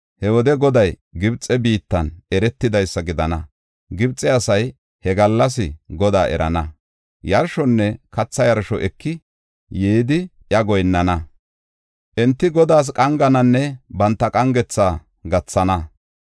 He wode Goday Gibxe biittan eretidaysa gidana; Gibxe asay he gallas Godaa erana. Yarshonne katha yarsho eki yidi iya goyinnana. Enti Godaas qangananne banta qangetha gathana.